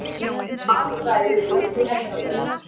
Alfræði Vöku-Helgafells.